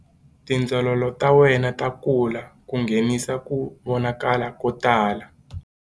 Tindzololo ta wena ta kula ku nghenisa ku vonakala ko tala.